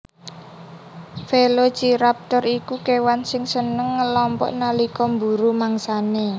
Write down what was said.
Velociraptor iku kèwan sing seneng ngelompok nalika mburu mangsanè